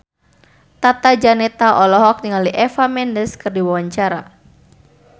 Tata Janeta olohok ningali Eva Mendes keur diwawancara